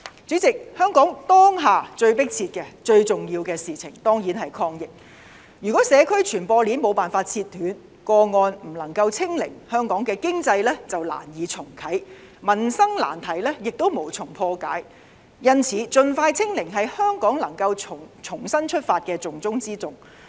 主席，香港當下最迫切、最重要的事情當然是抗疫，如果社區傳播鏈沒有辦法切斷，個案不能夠"清零"，香港的經濟便難以重啟，民生難題亦無從破解，因此，盡快"清零"是香港能夠重新出發的重中之重。